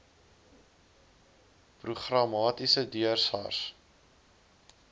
programmaties deur sars